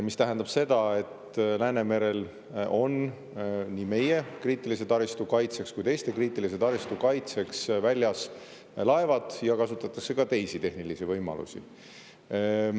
See tähendab seda, et Läänemerel on nii meie kriitilise taristu kaitseks kui ka teiste kriitilise taristu kaitseks väljas laevad ja kasutatakse ka teisi tehnilisi võimalusi.